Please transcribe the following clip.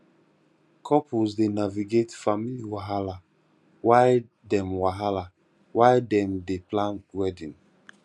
couples dey navigate family wahala while dem wahala while dem dey plan wedding